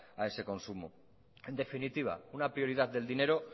a esa consumo en definitiva una prioridad del dinero